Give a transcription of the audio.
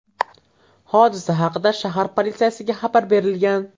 Hodisa haqida shahar politsiyasiga xabar berilgan.